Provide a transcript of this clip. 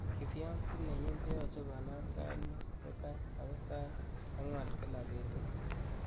kifyonsit nenyun koyoje konam sait muut mutai agoi sait ang'wan kila betut